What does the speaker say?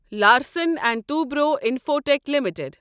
Larsen and Toubro Infotech limited